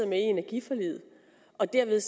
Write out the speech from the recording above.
med i energiforliget og dermed